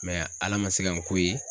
Ala man se ka n k'o ye.